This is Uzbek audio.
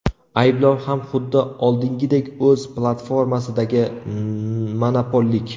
Ayblov ham xuddi oldingidek o‘z platformasidagi monopollik.